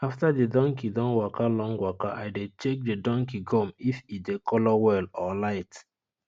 after the donkey don waka long waka i dey check the donkey gum if e dey colour well or light